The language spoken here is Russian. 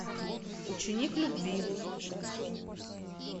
ученик любви